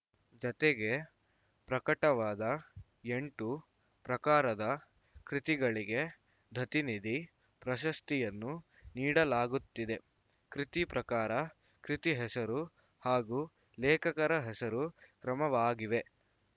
ಜತೆಗೆ ಪ್ರಕಟವಾದ ಎಂಟು ಪ್ರಕಾರದ ಕೃತಿಗಳಿಗೆ ದತ್ತಿನಿಧಿ ಪ್ರಶಸ್ತಿಯನ್ನು ನೀಡಲಾಗುತ್ತಿದೆ ಕೃತಿ ಪ್ರಕಾರ ಕೃತಿ ಹೆಸರು ಹಾಗೂ ಲೇಖಕರ ಹೆಸರು ಕ್ರಮವಾಗಿವೆ